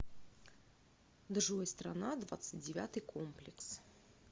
джой страна двадцать девятый комплекс